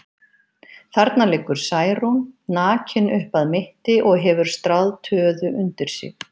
Þarna liggur Særún, nakin upp að mitti og hefur stráð töðu undir sig.